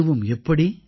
அதுவும் எப்படி